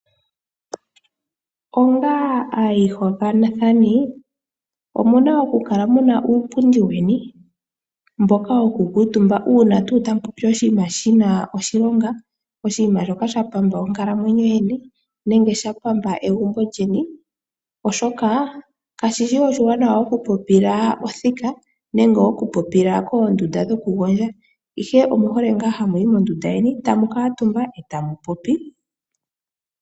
Onga aayihokanathani omuna okukala muna uupundi weni mboka hamu kuutumba uuna tuu tamupopi oshinima shina oshilonga. Oshinima shoka sha pamba onkalamwenyo yeni nenge sha pamba egumbo lyeni, oshoka kashi shi oshiwanawa okupopila othika nenge okupopila koondunda dhokugondja, ihe omuhole ngaa hamu yi mondunda yeni tamu kuutumba e tamu popi.